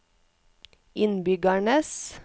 innbyggernes